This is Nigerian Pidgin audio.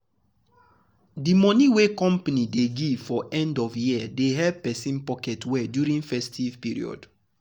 the bonus wey company dey give for end of year dey help person pocket well during festive period.